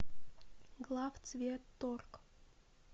главцветторг